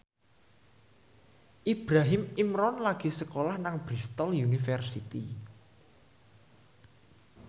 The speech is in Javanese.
Ibrahim Imran lagi sekolah nang Bristol university